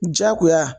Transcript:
Jagoya